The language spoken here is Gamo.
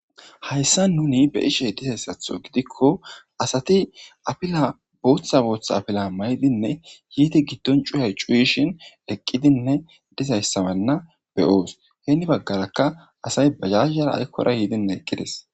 Hayssa nuni be ishe dizayssatho gidikko asati apila booththa booththa apila maydinne yiiti giddon cuyay cuuyishin eqqidinne dizayssamanna beyoos heeni baggarakka asay bajazara aykkora yiidinne eqqides.